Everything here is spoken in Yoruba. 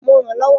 Mo rànán lọ́wọ́.